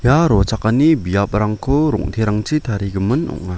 rochakani biaprangko rong·terangchi tarigimin ong·a.